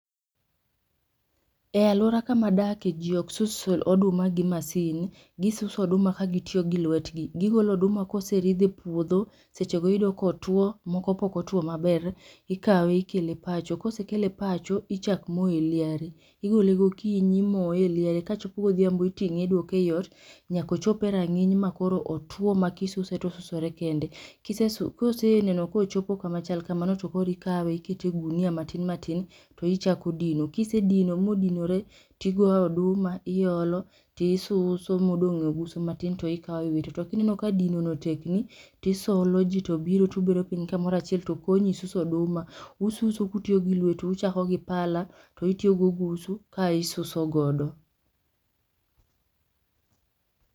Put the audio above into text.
E aluora kama adakie ji ok sus oduma gi masin. Gisuso oduma ka gitiyo gi lwetgi. Gigolo oduma koseridh e puodho, sechego iyudo kotuo moko be ok otwo maber. Ikawe ikele pacho, kosekele pacho ichak moye e liare. Igole gokinyi imoye e liare, kochopo godhiambo iting'e idwoke eot nyaka ochop e rang'iny makoro otwo ma kisuse to osusre kende. Kise su kiseneno kochopo kama chal kama, to koro ikawe to ikete e ogunia matin matin to ichako dino. Kise dino modinore, tikawo oduma iolo tisuso modong' e ogusu matin to ikawo iwito to kineno ni dino no tekni, to isoloji tobiro to gibet kamoro achiel to konyi suso oduma. Ususo ka utiyo gi lwetu, uchako gi pala to itiyo gi ogusu ka isuso godo.